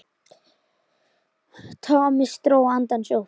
Thomas dró andann djúpt.